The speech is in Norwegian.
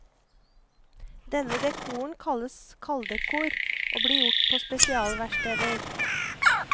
Denne dekoren kalles kalddekor og blir gjort på sepsialverksteder.